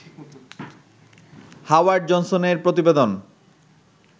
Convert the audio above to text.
Howard জনসনের প্রতিবেদন